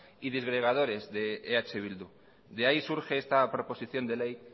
y disgregadores de eh bildu de ahí surge esta proposición de ley